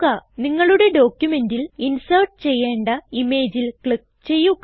നിങ്ങളുടെ ഡോക്യുമെന്റിൽ ഇൻസേർട്ട് ചെയ്യേണ്ട ഇമേജിൽ ക്ലിക്ക് ചെയ്യുക